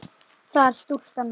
það er stúlkan mín.